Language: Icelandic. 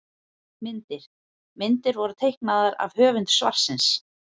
Myndir: Myndir voru teiknaðar af höfundi svarsins.